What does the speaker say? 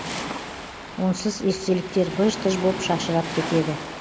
онсыз естеліктер быж тыж боп шашырап кетеді